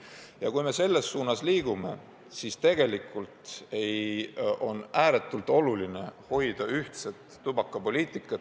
Ja kui me selles suunas liigume, siis on ääretult oluline hoida ühtset tubakapoliitikat.